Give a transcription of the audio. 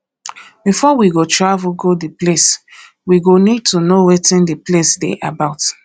before we go travel go di place we go need to know wetin di place dey about